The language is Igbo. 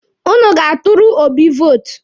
Ụnụ ga-atụrụ Obi vootu.